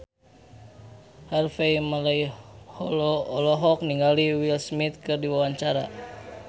Harvey Malaiholo olohok ningali Will Smith keur diwawancara